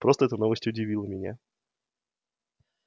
просто эта новость удивила меня